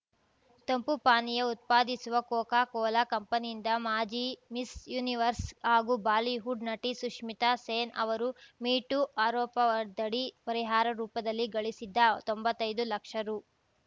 ತಂಪು ಪಾನೀಯ ಉತ್ಪಾದಿಸುವ ಕೋಕಾ ಕೋಲಾ ಕಂಪನಿಯಿಂದ ಮಾಜಿ ಮಿಸ್‌ ಯೂನಿವರ್ಸ್‌ ಹಾಗೂ ಬಾಲಿವುಡ್‌ ನಟಿ ಸುಶ್ಮಿತಾ ಸೇನ್‌ ಅವರು ಮೀ ಟೂ ಆರೋಪದಡಿ ಪರಿಹಾರ ರೂಪದಲ್ಲಿ ಗಳಿಸಿದ್ದ ತೊಂಬತೈದು ಲಕ್ಷ ರು